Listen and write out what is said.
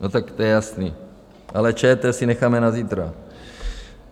No tak to je jasný, ale ČT si necháme na zítra.